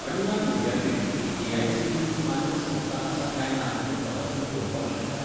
अण्णा विद्यापीठ ही एआयसीटीई मान्य संस्था आसा काय ना तें तूं तपासून पळोवपाक शकता?